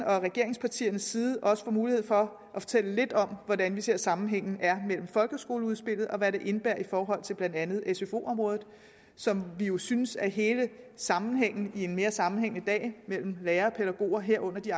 og regeringspartiernes side også får mulighed for at fortælle lidt om hvordan vi ser at sammenhængen er i folkeskoleudspillet og hvad det indebærer i forhold til blandt andet sfo området som vi jo synes er hele sammenhængen i en mere sammenhængende dag mellem lærere og pædagoger herunder at de